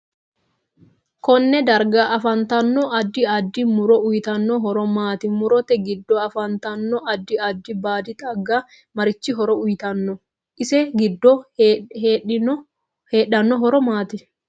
Konne darga afantanno addi addi muro uuyiitanno horo maati murote giddo afantanno addi addi baadi xaaga marichi horo uyiitanno ise giddo heedhanno horo maati